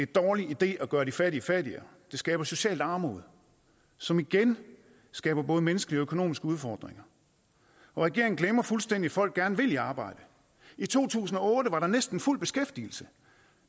dårlig idé at gøre de fattige fattigere det skaber socialt armod som igen skaber både menneskelige og økonomiske udfordringer regeringen glemmer fuldstændig at folk gerne vil i arbejde i to tusind og otte var der næsten fuld beskæftigelse